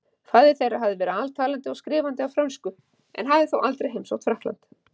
Faðir þeirra hafði verið altalandi og skrifandi á frönsku en hafði þó aldrei heimsótt Frakkland.